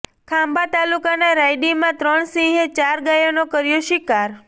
ખાંભા તાલુકાના રાયડીમાં ત્રણ સિંહે ચાર ગાયનો કર્યો શિકાર